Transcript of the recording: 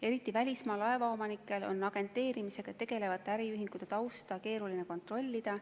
Eriti välismaa laevaomanikel on agenteerimisega tegelevate äriühingute tausta keeruline kontrollida.